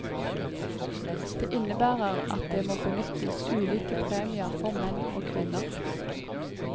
Det innebærer at det må benyttes ulike premier for menn og kvinner.